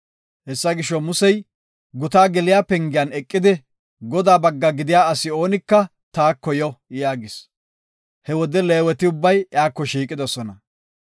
Hessa gisho, Musey gutaa geliya pengiyan eqidi, “Godaa bagga gidiya asi oonika taako yo” yaagis. He wode Leeweti ubbay iyako shiiqidosona.